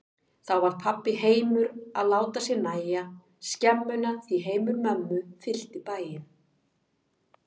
Þá varð pabba heimur að láta sér nægja skemmuna, því heimur mömmu fyllti bæinn.